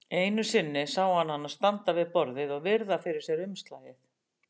Einu sinni sá hann hana standa við borðið og virða fyrir sér umslagið.